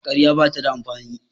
ƙarya ba ta da amfani